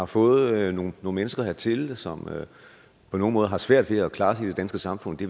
fået nogle mennesker hertil som på nogle måder har svært ved at klare sig i det danske samfund det